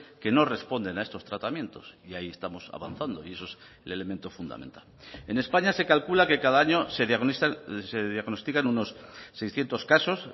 que no responden a estos tratamientos y ahí estamos avanzando y eso es el elemento fundamental en españa se calcula que cada año se diagnostican unos seiscientos casos